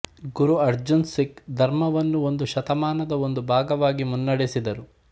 ಗುರು ಅರ್ಜನ್ ಸಿಖ್ ಧರ್ಮವನ್ನು ಒಂದು ಶತಮಾನದ ಒಂದು ಭಾಗವಾಗಿ ಮುನ್ನಡೆಸಿದರು